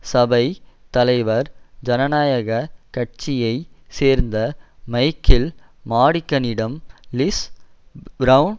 சபைத் தலைவர் ஜனநாயக கட்சியை சேர்ந்த மைக்கேல் மாடிகனிடம் லிஸ் பிரெளன்